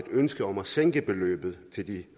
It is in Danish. ønske om at sænke beløbet